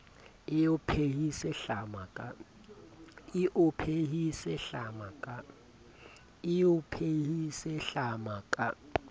e o phehise hlama ka